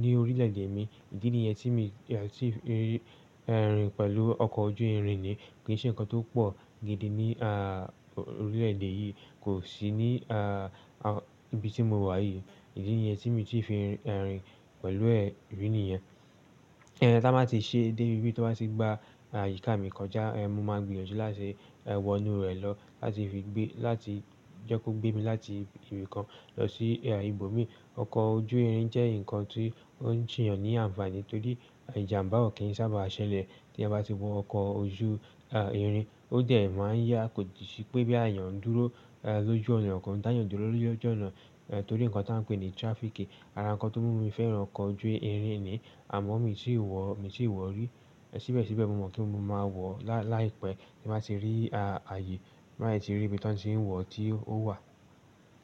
ní orílẹ̀ èdè mi. Idí nìyẹn tí mi ti fi rìn pẹ̀lú ọkọ̀ ojú irin ni. Kì í ṣe ǹkan tó pọ̀ gidi ní à orílẹ̀ èdè yìí, kò sì ní, ibi tí mo wà yìí. Ìdí nìyẹn tí mi i tí fi rìn pẹ̀lú ẹ̀ rí nìyẹn. Tan bá ti ṣe dé ibi bi tan bá ti gba àyíká mi kọjá, mo máa gbìyànjú láti wọ inú rẹ̀ lọ láti fi gbé láti jẹ́ kó gbé mi láti ibì kan lọ sí ibòmíi. Ọkọ̀ ojú irin jẹ́ ǹkan tí ó ń ṣe èèyàn ní àǹfààní torí ìjàmbá ò kí ń sábà ṣẹlẹ̀ tí èèyàn bá ti wọ ọkọ̀ ojú irin. Ó dẹ̀ máa ń yá, kò sì sì pé bóyá eeyàn n dúró lójú ọ̀nà kò n dá eeyàn dúró lójú ọ̀nà torí ǹkan tí a ń pè ní tirafiiki. Ara ǹkan tó mú mi fẹ́ràn ọkọ̀ ojú irin ni. Àmọ́ mi ti ì wọ̀, mi ti i wọ̀ rí. Ṣíbẹ̀síbẹ̀ mọ̀ mọ̀ pé mo máa wọ̀ láìpẹ́ tí n bà ti rí ààyè, ti n bá sì tí rí ibi tí wọ́n ti ń wọ̀ tí ó wà.